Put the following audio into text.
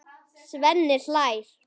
Svenni hlær.